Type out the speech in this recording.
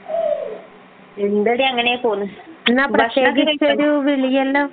എന്തെടി അങ്ങനെ പോന്നു എന്ന പ്രത്യേകിച്ചൊരു വിളിയെല്ലാം